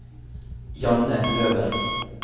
Janne Løberg